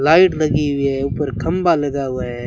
Light लगी हुई है ऊपर खंभा लगा हुआ है।